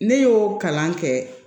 Ne y'o kalan kɛ